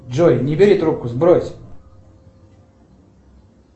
джой не бери трубку сбрось